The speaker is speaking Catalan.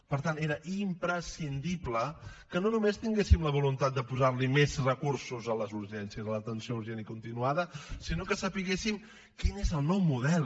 per tant era imprescindible que no només tinguéssim la voluntat de posar li més recursos a les urgències a l’atenció urgent i continuada sinó que sabéssim quin és el nou model